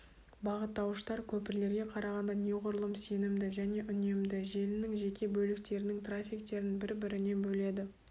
бағыттауыштар көпірлерге қарағанда неғұрлым сенімді және үнемді желінің жеке бөліктерінің трафиктерін бір-бірінен бөледі